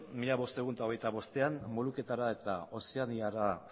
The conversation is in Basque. mila bostehun eta hogeita bostean moluketara eta ozeaniara